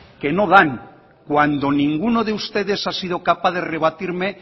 que no dan cuando ninguno de ustedes ha sido capaz de rebatirme